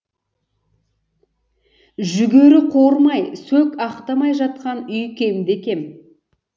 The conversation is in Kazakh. жүгері қуырмай сөк ақтамай жатқан үй кемде кем